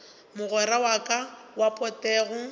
mogwera wa ka wa potego